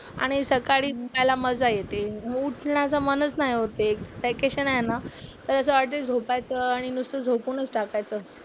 आणि सकाळी उठायला मजा येते. उठण्याचं मनच नाही होते. वेकेशन आहे ना. तर असं वाटते झोपायचं आणि नुसतं झोपूनच टाकायचं.